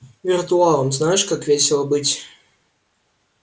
виртуалом знаешь как весело быть